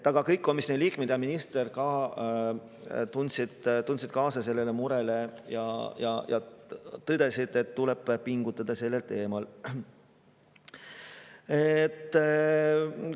Kõik komisjoni liikmed ja ka minister seda muret ja tõdesid, et tuleb pingutada selle.